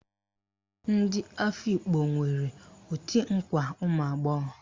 Ndị Afikpo nwere òtù nkwa ụmụagbọghọ